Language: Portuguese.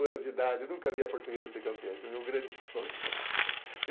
anos de idade, nunca vi a portuguesa ser campeã, esse é o meu grande sonho.